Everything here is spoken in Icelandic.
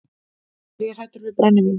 Er ég hræddur við brennivín?